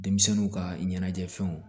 Denmisɛnninw ka ɲɛnajɛfɛnw